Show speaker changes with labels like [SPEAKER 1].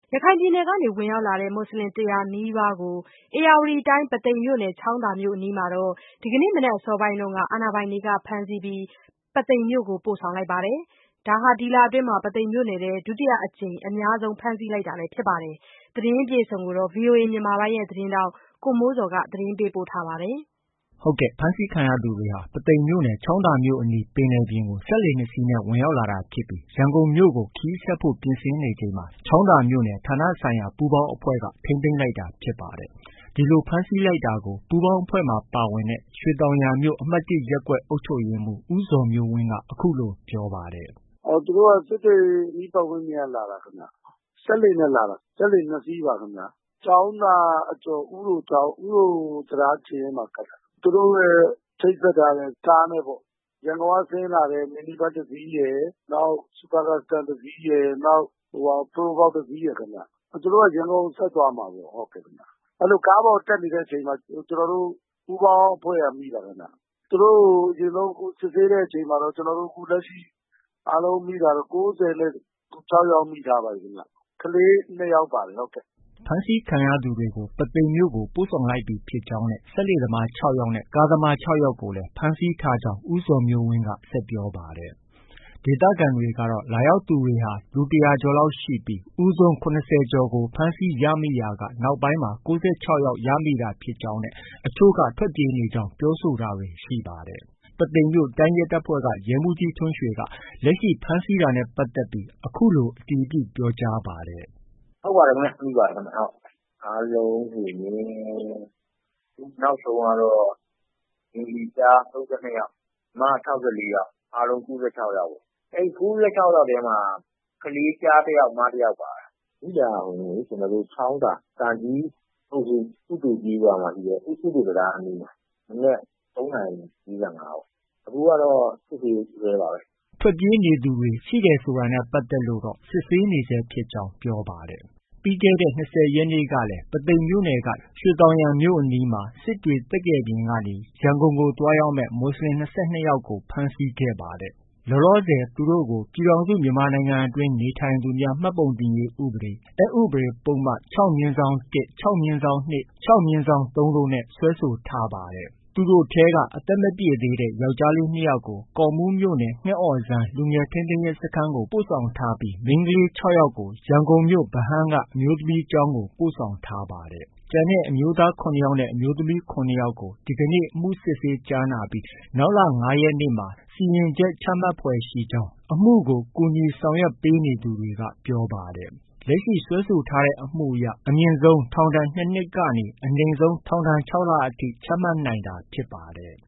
[SPEAKER 1] ရခိုင်ပြည်နယ်ကနေ ဝင်ရောက်လာတဲ့ မူဆလင် ၁၀၀နီးပါးကို ဧရာဝတီတိုင်း ပုသိမ်မြို့နယ် ချောင်းသာမြို့အနီးမှာ ဒီကနေ့မနက်အစောပိုင်းက အာဏာပိုင်တွေက ဖမ်းဆီးပြီး ပုသိမ်မြို့ကို ပို့ဆောင်လိုက်ပါတယ်။ ဒါဟာ ဒီလအတွင်း ပုသိမ်မြို့နယ်မှာ ဒုတိယအကြိမ်နဲ့ အများဆုံး ဖမ်းဆီးလိုက်တာဖြစ်ပါတယ်။ ဒီသတင်းကိုတော့ ဗွီအိုအေမြန်မာပိုင်းရဲ့သတင်းထောက် ကိုမိုးဇော်က တင်ပြထားပါတယ်။ ဖမ်းဆီးခံရသူတွေဟာ ပုသိမ်မြို့နယ် ချောင်းသာမြို့အနီးပင်လယ်ပြင်ကို စက်လှေ ၂စီးနဲ့ ဝင်ရောက်လာတာဖြစ်ပြီး ရန်ကုန်မြို့ကို ခရီးဆက်ဖို့ ပြင်ဆင်နေချိန်မှာ ချောင်းသာမြို့နယ် ဌာနဆိုင်ရာ ပူးပေါင်းအဖွဲ့က ထိန်းသိမ်းလိုက်တာဖြစ်ပါတယ်။ ဒီလို ဖမ်းဆီးလိုက်တာကို ပူးပေါင်းအဖွဲ့မှာ ပါဝင်တဲ့ ရွှေသောင်ယံမြို့ အမှတ်၁ရပ်ကွက် အုပ်ချုပ်ရေးမှုး ဦးဇော်မျိုးဝင်းက အခုလို ပြောပါတယ်။
[SPEAKER 2] “ သူတို့က စစ်တွေ အနီးပတ်ဝန်းကျင်က လာတာခင်ဗျ။ စက်လှေနဲ့ လာတာ။ စက်လှေ ၂စီးပါခင်ဗျ။ ချောင်းသာအကျော် ဥတို၊ ဥတိုချောင်း တံတားခြေရင်းမှာ ကပ်တာ။ သူတို့ရဲ့ ချိတ်ဆက်ထားတဲ့ ကားနဲ့ပေါ့။ ရန်ကုန်ကဆင်းလာတယ် Mini Bus တစ်စီးရယ်၊ နောက် Super Custom တစ်စီးရယ်၊ နောက် Probox တစ်စီးရယ်ခင်ဗျ။ သူတို့က ရန်ကုန်ကို ဆက်သွားမှာပေါ့။ အဲလို ကားပေါ်ကို တက်နေတဲ့အချိန်မှာ ကျနော်တို့ ပူးပေါင်း အဖွဲ့က မိတာခင်ဗျ။ သူတို့ကို အရင်ဆုံး အခု စစ်ဆေးတဲ့အချိန်မှာတော့ အခုလက်ရှိ အားလုံးမိတာတော့ ကိုးဆယ်နဲ့ ခြောက်ယောက် မိထားပါပြီခင်ဗျ။” ဖ
[SPEAKER 1] မ်းဆီးခံရသူတွေကို ပုသိမ်မြို့ကို ပို့ဆောင်လိုက်ပြီဖြစ်ကြောင်းနဲ့စက်လှေသမား၆ယောက်နဲ့ ကားသမား၆ယောက်ကိုလည်း ဖမ်းဆီးထားကြောင်း ဦးဇော်မျိုးဝင်းက ဆက်ပြောပါတယ်။ ဒေသခံတွေကတော့ လာရောက်သူဟာ လူ ၁၀၀ကျော်လောက်ရှိပြီး ဦးဆုံး ၇၀ကျော်ကိုဖမ်းဆီးရမိရာက နောက်ပိုင်းမှာ ၉၆ယောက် ရမိတာဖြစ်ကြောင်းနဲ့ အချို့တွေက ထွက်ပြေးနေကြောင်း ပြောဆိုတာတွေ ရှိပါတယ်။ ပုသိမ်မြို့တိုင်းရဲတပ်ဖွဲ့က ဒုရဲမှုးကြီး ထွန်းရွှေက လက်ရှိ ဖမ်းဆီးထားတာနဲ့ပတ်သက်ပြီး အခုလို အတည်ပြု ပြောကြားပါတယ်။
[SPEAKER 3] “ ဟုတ်ပါတယ်ခင်ဗျ။ ဖမ်းမိပါတယ်။ အားလုံးဆိုရင် နောက်ဆုံးကတော့ ဘဂါၤလီ ကျား ၃၂ယောက်၊ မ ၆၄ယောက်။ အားလုံး ၉၆ယောက်ပေါ့။ အဲဒီ ၉၆ယောက်ထဲမှာ ကလေး ကျားတစ်ယောက်၊ မတစ်ယောက်ပါတယ်။ မိတာက ချောင်းသာ ကကြီးအုပ်စု၊ ဥတိုကျေးရွာအနီး ဥတိုတံတားအနီးမှာ။ မနက် ၃နာရီ ၄၅ကပေါ့။ အခုကတော့ စစ်ဆေးဆဲပါပဲ။
[SPEAKER 1] ” ထွက်ပြေးနေသူတွေ ရှိတယ်ဆိုတာနဲ့ ပတ်သက်လို့ စစ်ဆေးနေဆဲဖြစ်ကြောင်း ပြောပါတယ်။ ပြီးခဲ့တဲ့ ၂၀ရက်နေ့ကလည်း ပုသိမ်မြို့နယ်က ရွှေသောင်ယံမြို့အနီးမှာ စစ်တွေ၊ သက္ကယ်ပြင်ရွာကနေ ရန်ကုန်ကို သွားရောက်မယ် မူဆလင် ၂၂ယောက်ကို ဖမ်းဆီးခဲ့ပါတယ်။ လောလောဆည် သူတို့ကို ပြည်ထောင်စုမြန်မာနိုင်ငံအတွင်းနေထိုင်သူများ မှတ်ပုံတင်ရေးဥပဒေအက်ဥပဒေ ပုဒ်မ ၆(၁)။၆(၂)။ ၆(၃) တို့နဲ့ စွဲဆိုထားပါတယ်။ သူတို့ထဲက အသက်မပြည့်သေးတဲ့ ယောက်ျားလေး ၂ယောက်ကို ကော့မှုးမြို့နယ် ငှက်အော်စမ်း လူငယ်ထိန်းသိမ်းရေးစခန်းကို ပို့ဆောင်ထားပြီး၊ မိန်းကလေး ၆ယောက်ကို ရန်ကုန်မြို့ ဗဟန်းက အမျိုးသမီးကျောင်းကို ပို့ဆောင်ထားပါတယ်။ ကျန်ရှိနေတဲ့ အမျိုးသား ၇ယောက်နဲ့ အမျိုးသမီး ၇ယောက်ကို ဒီကနေ့ အမှုစစ်ဆေးကြားနာပြီး နောက်လ ၅ရက်နေ့မှာ စီရင်ချက် ချမှတ်ဖွယ်ရှိကြောင်း အမှုကို လိုက်ပါဆောင်ရွက်နေသူတွေက ပြောပါတယ်။ လက်ရှိ စွဲဆိုထားတဲ့အမှုအရ အမြင့်ဆုံး ထောင်ဒဏ် ၂နှစ်ကနေ အနိမ့်ဆုံး ထောင်ဒဏ် ၆လ အထိ ချမှတ်နိုင်တာဖြစ်ပါတယ်။